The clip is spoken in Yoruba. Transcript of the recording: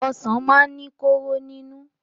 Ọsàn máa ń ní kóró nínú.